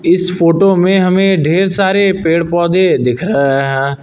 इस फोटो में हमें ढेर सारे पेड़ पौधे दिख रहे है।